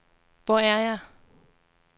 Hvor er jeg